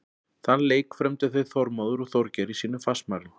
Þann leik frömdu þeir Þormóður og Þorgeir í sínum fastmælum.